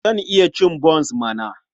Zan iya cin bons mana!